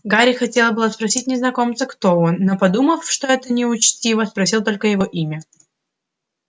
гарри хотел было спросить незнакомца кто он но подумав что это неучтиво спросил только его имя